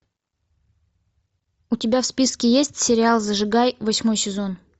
у тебя в списке есть сериал зажигай восьмой сезон